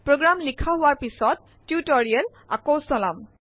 program লিখা হোৱাৰ পিছত টিউটৰিয়েল আকৌ চলাম